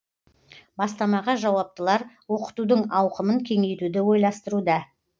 бастамаға жауаптылар оқытудың ауқымын кеңейтуді ойластыруда